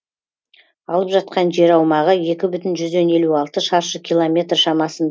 алып жатқан жер аумағы екі бүтін жүзден елу алты шаршы километр